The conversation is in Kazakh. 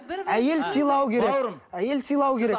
әйел сыйлау керек әйел сыйлау керек